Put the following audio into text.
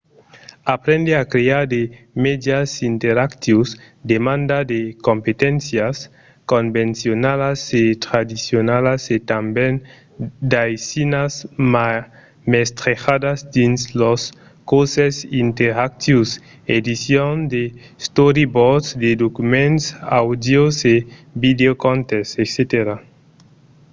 aprendre a crear de mèdias interactius demanda de competéncias convencionalas e tradicionalas e tanben d'aisinas mestrejadas dins los corses interactius edicion de storyboards de documents àudios e vidèos contes etc.